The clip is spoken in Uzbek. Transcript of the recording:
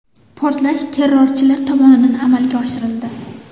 Portlash terrorchilar tomonidan amalga oshirildi.